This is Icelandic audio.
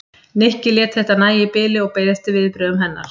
Nikki lét þetta nægja í bili og beið eftir viðbrögðum hennar.